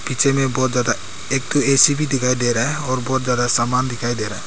पीछे में बहोत ज्यादा एक ए_सी भी दिखाई दे रहा है और बहोत ज्यादा सामान दिखाई दे रहा है।